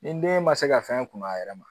Ni den ma se ka fɛn kun a yɛrɛ ma